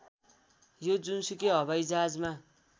यो जुनसुकै हवाइजहाजमा